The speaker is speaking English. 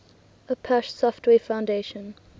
apache software foundation